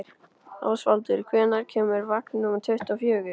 Ásvaldur, hvenær kemur vagn númer tuttugu og fjögur?